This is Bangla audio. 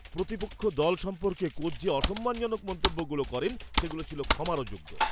প্রতিপক্ষ দল সম্পর্কে কোচ যে অসম্মানজনক মন্তব্যগুলো করেন, সেগুলো ছিল ক্ষমার অযোগ্য।